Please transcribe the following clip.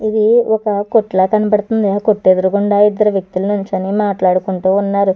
ఇది ఒక కొట్టు లా కనబడుతుంది కొట్టేదరగుండా ఇద్దరు వ్యక్తులు నిల్చొని మాట్లాడుకుంటూ ఉన్నారు.